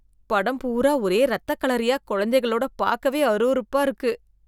படம் பூரா ஒரே இரத்தக்களரியா குழந்தைகளுடன் பார்க்கவே அருவருப்பாக இருக்கு